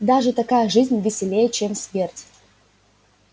даже такая жизнь веселей чем смерть